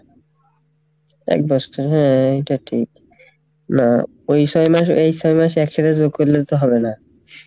এক বৎসর হ্যাঁ এইটা ঠিক না এই ছয় মাস ওই ছয় মাস এক সাথে যোগ করলে তো হবে না,